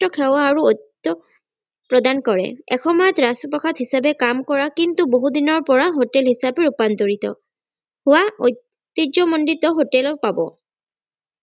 উৎকৃষ্ট সেয়া আৰু ঐতিহ্য প্ৰদান কৰে এসময়ত ৰাজপ্ৰাসাদ হিচাপে কাম কৰা কিন্তু বহুদিনৰ পৰা hotel হিচাপে ৰূপান্তৰিত ঐতিহ্যমন্দিত hotel ও পাব